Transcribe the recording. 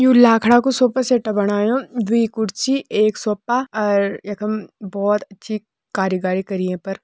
यू लाखड़ा कू sofa set बणायु दुई कुर्सी एक सोफा अर यखम बहोत अच्छी कारिगरी करीं ये पर।